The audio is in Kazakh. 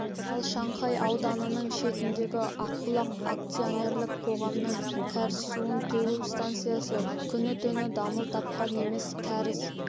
ал шанхай ауданының шетіндегі ақбұлақ акционерлік қоғамының кәріз суын төгу станциясы күні-түні дамыл тапқан емес кәріз